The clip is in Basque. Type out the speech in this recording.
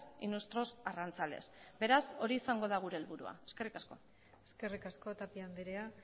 y nuestros arrantzales beraz hori izango da gure helburua eskerrik asko eskerrik asko tapia andrea